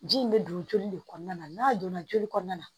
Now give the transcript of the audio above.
Ji in bɛ don joli de kɔnɔna na n'a donna joli kɔnɔna na